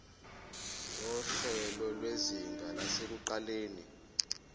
nguhlelo lwezinga lasekuqaleni